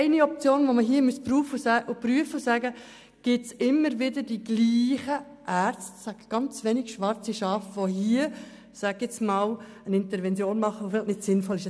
Eine Option ist es, zu prüfen, ob immer wieder dieselben Ärzte, ganz wenige schwarze Schafe, eine Intervention machen, die vielleicht nicht sinnvoll ist.